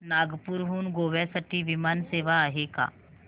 नागपूर हून गोव्या साठी विमान सेवा आहे का